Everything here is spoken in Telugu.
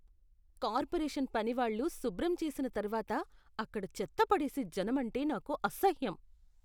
కార్పొరేషన్ పనివాళ్ళు శుభ్రం చేసిన తర్వాత అక్కడ చెత్త పడేసే జనమంటే నాకు అసహ్యం.